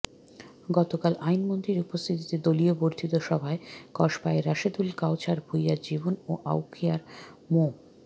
গতকাল আইনমন্ত্রীর উপস্থিতিতে দলীয় বর্ধিত সভায় কসবায় রাশেদুল কাওছার ভূঁইয়া জীবন ও আখাউড়ায় মো